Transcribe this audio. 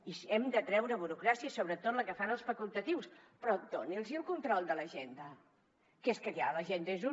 i sí hem de treure burocràcia sobretot la que fan els facultatius però doni’ls el control de l’agenda que és que l’agenda és un